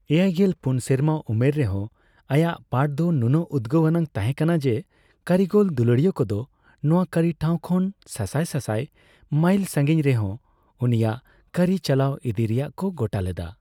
ᱮᱭᱟᱭᱜᱮᱞ ᱯᱩᱱ ᱥᱮᱨᱢᱟ ᱩᱢᱮᱨ ᱨᱮᱦᱚᱸ ᱟᱭᱟᱜ ᱯᱟᱴᱷ ᱫᱚ ᱱᱩᱱᱟᱹᱜ ᱩᱫᱽᱜᱟᱹᱣ ᱟᱱᱟᱜ ᱛᱟᱸᱦᱮ ᱠᱟᱱᱟ ᱡᱮ, ᱠᱟᱹᱨᱤᱜᱚᱞ ᱫᱩᱞᱟᱹᱲᱤᱭᱟᱹ ᱠᱚᱫᱚ ᱱᱚᱣᱟ ᱠᱟᱹᱨᱤ ᱴᱷᱟᱣ ᱠᱷᱚᱱ ᱥᱟᱥᱟᱭ ᱥᱟᱥᱟᱭ ᱢᱟᱭᱤᱞ ᱥᱟᱸᱜᱤᱧ ᱨᱮᱦᱚᱸ ᱩᱱᱤᱭᱟᱜ ᱠᱟᱹᱨᱤ ᱪᱟᱞᱟᱣ ᱤᱫᱤᱭ ᱨᱮᱭᱟᱜ ᱠᱚ ᱜᱚᱴᱟ ᱞᱮᱫᱟ ᱾